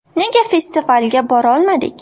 Nega festivalga borolmadik?